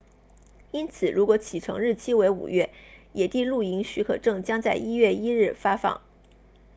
因此如果启程日期为5月野地露营许可证将在1月1日发放